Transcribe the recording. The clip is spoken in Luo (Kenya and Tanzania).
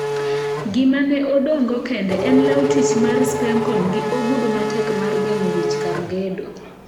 Gima ne odong'go kende en law tich mar Spencon gi ogudu matek mar geng'o wich kar gedo.